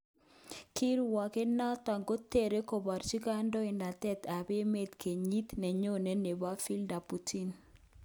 Kirwoget noton kotere koborchige kandoinatet tab emet kenyit nenyone neboto Vladimir Putin.